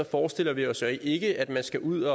forestiller vi os ikke at man skal ud